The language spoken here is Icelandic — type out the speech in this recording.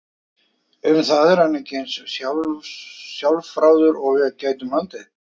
Um það er hann ekki eins sjálfráður og við gætum haldið.